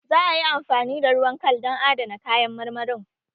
Za a yi amfani da ruwan kal dan adana kayan marmarin